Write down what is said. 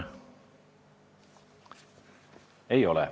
Ei ole.